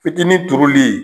Fitinin turuli